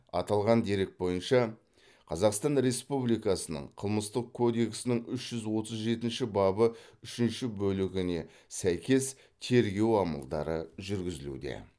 аталған дерек бойынша қазақстан республикасының қылмыстық кодексінің үш жүз отыз жетінші бабы үшінші бөлігіне сәйкес тергеу амалдары жүргізілуде